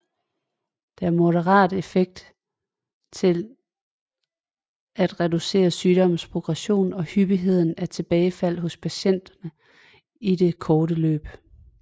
Det er moderat effektivt til at reducere sygdommens progression og hyppigheden af tilbagefald hos patienterne i det korte løb